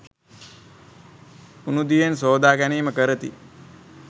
උණූ දියෙන් සෝදා ගැනීම කරති